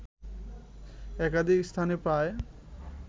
একাধিক স্থানে প্রায়